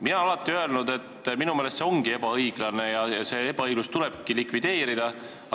Mina olen alati öelnud, et minu meelest see ongi ebaõiglane ja see ebaõiglus tuleb likvideerida.